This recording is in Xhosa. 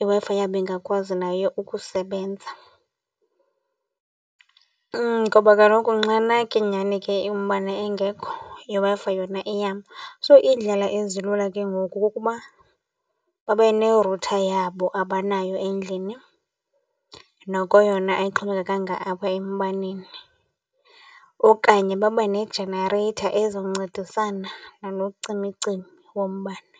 iWi-Fi yabo ingakwazi naye ukusebenza. Ngoba kaloku nxana ke nyhani ke umbane engekho iWi-Fi yona iyama. So, iindlela ezilula ke ngoku kukuba babe ne-rutha yabo abanayo endlini noko yona ayixhomekekanga apha embaneni okanye babe ne-generator ezoncedisana nalo cimicimi wombane.